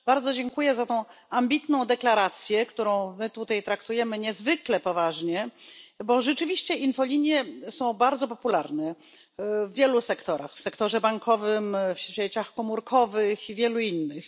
Bardzo dziękuję za tę ambitną deklarację, którą my tutaj traktujemy niezwykle poważnie, bo rzeczywiście infolinie są bardzo popularne w wielu sektorach w sektorze bankowym, w sieciach komórkowych i wielu innych.